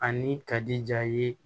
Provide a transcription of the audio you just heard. Ani kadi ja ye